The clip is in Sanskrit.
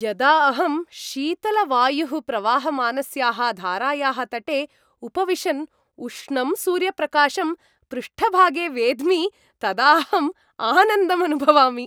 यदा अहं शीतलवायुः प्रवहमानस्याः धारायाः तटे उपविशन् उष्णं सूर्यप्रकाशं पृष्ठभागे वेद्मि, तदा अहम् आनन्दम् अनुभवामि।